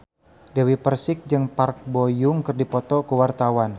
Dewi Persik jeung Park Bo Yung keur dipoto ku wartawan